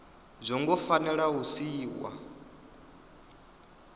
zwo ngo fanela u siiwa